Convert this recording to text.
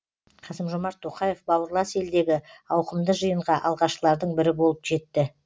қасым жомарт тоқаев бауырлас елдегі ауқымды жиынға алғашқылардың бірі болып жетті